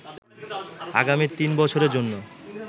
আগামী তিন বছরের জন্য